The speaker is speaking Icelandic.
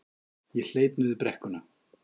Ég hleyp niður brekkuna.